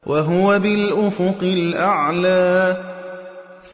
وَهُوَ بِالْأُفُقِ الْأَعْلَىٰ